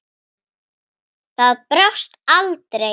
Það brást aldrei.